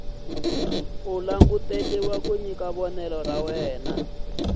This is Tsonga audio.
languteriwa ku nyika vonelo ra